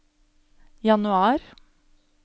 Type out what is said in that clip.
januar